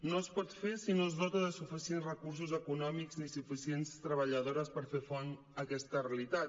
no es pot fer si no es dota de suficients recursos econòmics ni suficients treballadores per fer front a aquesta realitat